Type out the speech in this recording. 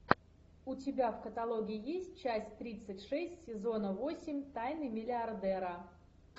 у тебя в каталоге есть часть тридцать шесть сезона восемь тайны миллиардера